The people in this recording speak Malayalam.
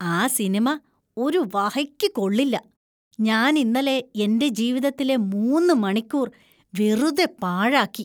ആ സിനിമ ഒരു വഹയ്ക്കു കൊള്ളില്ല. ഞാൻ ഇന്നലെ എന്‍റെ ജീവിതത്തിലെ മൂന്ന് മണിക്കൂർ വെറുതെ പാഴാക്കി.